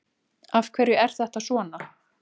Af hverju er þetta svona?